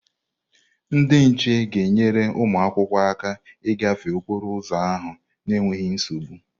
Ndị nche ga-enyere ụmụ akwụkwọ aka ịgafe okporo ụzọ ahụ n'enweghị nsogbu.